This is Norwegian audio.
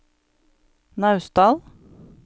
Naustdal